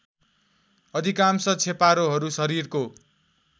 अधिकांश छेपारोहरू शरीरको